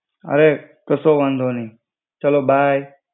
અરે કસો વાંધો નહિ. ચલો બાય.